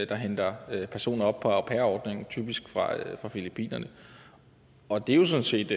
der henter personer op på au pair ordningen typisk fra filippinerne og det er sådan set